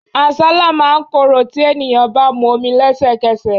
Àsálà máa ń korò tí ènìyàn bá mu omi lesekese.